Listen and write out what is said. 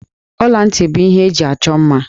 Ọla ntị bụ ihe eji achọ mma.